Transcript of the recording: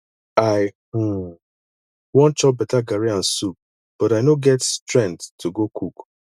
i um wan chop beta garri and soup but i no get strength to go cook